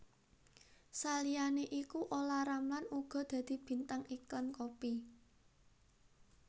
Saliyané iku Olla Ramlan uga dadi bintang iklan kopi